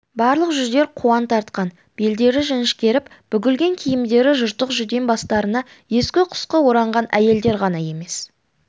барлық жүздер қуаң тартқан белдері жіңішкеріп бүгілген киімдері жыртық жүдең бастарына ескі-құсқы ораған әйелдер ғана емес